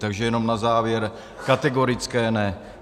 Takže jenom na závěr - kategorické ne.